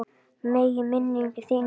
Megi minning þín lifa.